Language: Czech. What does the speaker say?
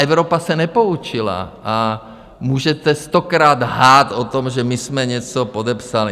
Evropa se nepoučila a můžete stokrát lhát o tom, že my jsme něco podepsali.